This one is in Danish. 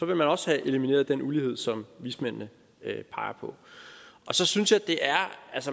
man også have elimineret den ulighed som vismændene peger på og så synes jeg at det er